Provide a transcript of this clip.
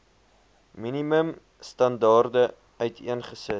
minimum standaarde uiteengesit